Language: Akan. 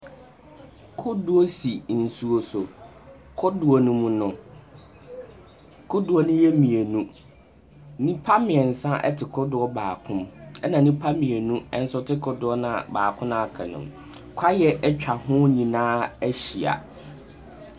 Kodoɔ si nsuo so. Kodoɔ no mu no, kodoɔ no yɛ mmienu. Nnipa mmiɛnsa te kodoɔ baako mu ɛna nnipa mmienu nso te kodoɔ no a baako no a aka no mu. Kaweɛ atwa ho nyinaa ahyia.